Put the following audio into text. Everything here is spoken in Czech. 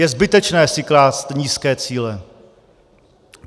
Je zbytečné si klást nízké cíle.